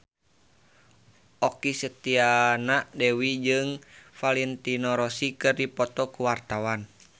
Okky Setiana Dewi jeung Valentino Rossi keur dipoto ku wartawan